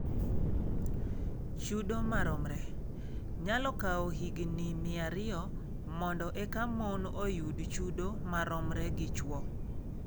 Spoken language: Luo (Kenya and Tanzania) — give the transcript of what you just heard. Chudo ma romre: Nyalo kawo higini 200 mondo eka mon oyud chudo maromre gi chwo